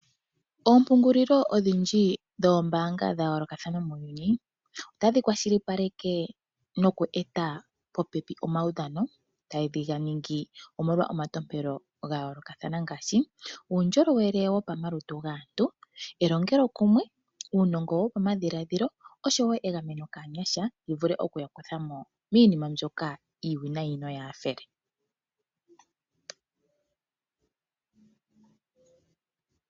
Oompungulilo odhindji dhoombanga dha yolokathana muuyuni otadhi kwashilipaleke noku eta popepi omaudhano. Tage ningi omolwa omatompelo ga yoolokathana ngaashi uundjolowele wopamalutu gaantu, elongo kuumwe, uunogo wopo madhiladhilo oshowo egameno kaanyasha li vule okuya kwatha miinima mbyoka iiwinayi noyaafele.